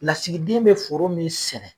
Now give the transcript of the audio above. Lasigiden bɛ foro min sɛnɛ.